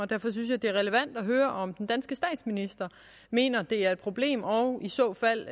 derfor synes jeg det er relevant at høre om den danske statsminister mener det er et problem og i så fald